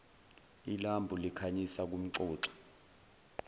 ilambu likhanyisa kumxoxi